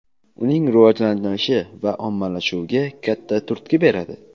uning rivojlanishi va ommalashuviga katta turtki beradi.